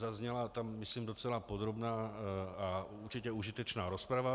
Zazněla tam myslím docela podrobná a určitě užitečná rozprava.